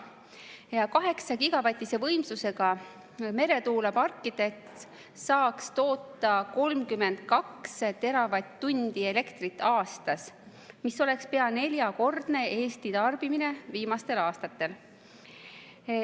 Kaheksagigavatise võimsusega meretuuleparkides saaks toota 32 teravatt-tundi elektrit aastas, mis oleks pea neljakordne Eesti tarbimine viimastel aastatel.